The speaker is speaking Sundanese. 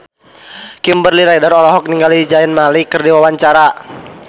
Kimberly Ryder olohok ningali Zayn Malik keur diwawancara